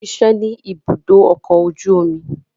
O ṣiṣẹ ni ìbùdó ọkọ oju omi